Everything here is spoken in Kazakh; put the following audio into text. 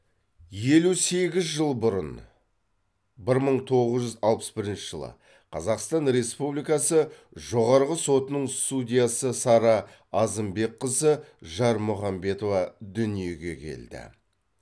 елу сегіз жыл бұрын бір мың тоғыз жүз алпыс бірінші жылы қазақстан республикасы жоғарғы сотының судьясы сара азымбекқызы жармұхамбетова дүниеге келді